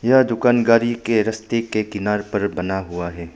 यह दुकान गाड़ी के रास्ते के किनारे पर बना हुआ है।